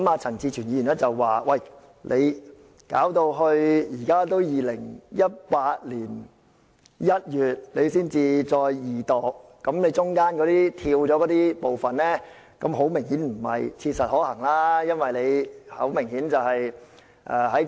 陳志全議員指出到現在2018年1月才進行二讀，當中的拖延明顯違反了"於切實可行範圍內"的規定。